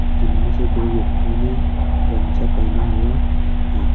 जिनमे से दो व्यक्तियों ने गमछा पहना हुआ है।